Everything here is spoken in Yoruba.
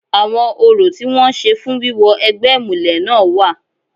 Àwọn orò tí wọ́n ń ṣe fún wíwọ egbẹ́ ìmùlẹ̀ náà wà.